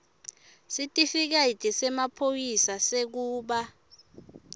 sitifiketi semaphoyisa sekuba